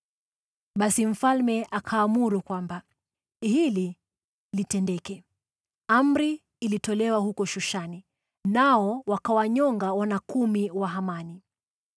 Basi mfalme akaamuru kwamba hili litendeke. Amri ilitolewa huko Shushani, nao wakawanyonga wana kumi wa Hamani.